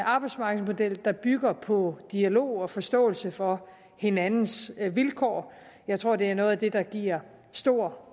arbejdsmarkedsmodel der bygger på dialog og forståelse for hinandens vilkår jeg tror det er noget af det der giver stor